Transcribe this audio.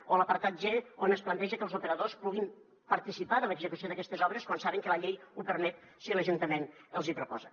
o l’apartat g on es planteja que els operadors puguin participar de l’execució d’aquestes obres quan saben que la llei ho permet si l’ajuntament els hi proposa